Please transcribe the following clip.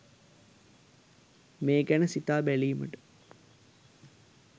මේ ගැන සිතා බැලීමට